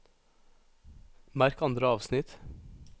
Merk andre avsnitt